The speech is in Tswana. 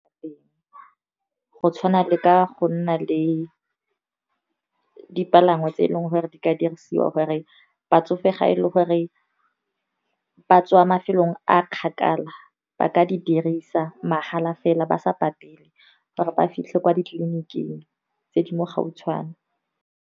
Go tshwana le ka go nna le dipalangwa tse eleng gore, di ka dirisiwa gore batsofe ga e le gore ba tswa mafelong a kgakala, ba ka di dirisa mahala fela ba sa patele, gore ba fitlhe kwa ditleliniking tse di mo gautshwane.